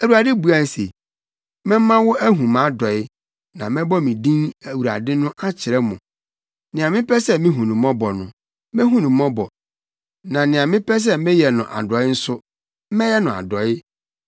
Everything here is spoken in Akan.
Awurade buae se, “Mɛma mo ahu mʼadɔe, na mɛbɔ me din Awurade no akyerɛ mo. Nea mepɛ sɛ mihu no mmɔbɔ no, mehu no mmɔbɔ, na nea mepɛ sɛ meyɛ no adɔe nso, mɛyɛ no adɔe.